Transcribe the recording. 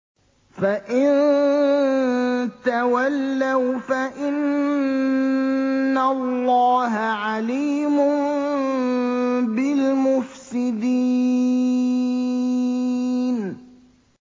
فَإِن تَوَلَّوْا فَإِنَّ اللَّهَ عَلِيمٌ بِالْمُفْسِدِينَ